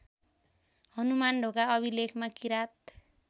हनुमानढोका अभिलेखमा किराँत